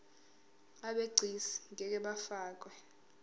abegcis ngeke bafakwa